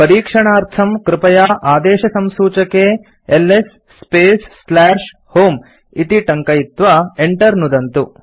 परीक्षणार्थं कृपया आदेशसंसूचके एलएस स्पेस् होमे इति टङ्कयित्वा enter नुदन्तु